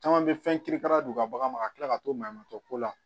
Caman bɛ fɛn kirikara don u ka baganw ma ka tila ka to mankan ko la